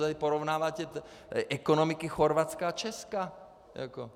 Tady porovnáváte ekonomiky Chorvatska a Česka.